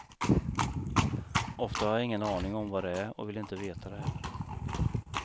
Ofta har jag ingen aning vad det är och vill inte veta det heller.